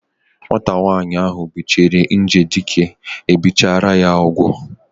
Nwata nwaanyị ahu butere nje dike ebichara ya ugwu